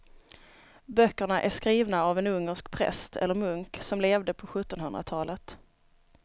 Böckerna är skrivna av en ungersk präst eller munk som levde på sjuttonhundratalet.